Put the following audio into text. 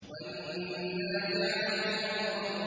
وَالنَّازِعَاتِ غَرْقًا